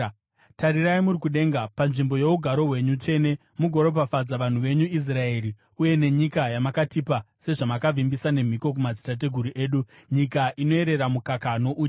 Tarirai muri kudenga, panzvimbo yougaro hwenyu tsvene, mugoropafadza vanhu venyu Israeri uye nenyika yamakatipa sezvamakavimbisa nemhiko kumadzitateguru edu, nyika inoyerera mukaka nouchi.”